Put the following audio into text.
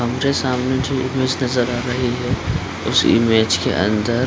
हमरे सामने जो इमेज नज़र आ रही है उस इमेज के अंदर--